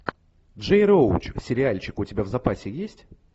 джей роуч сериальчик у тебя в запасе есть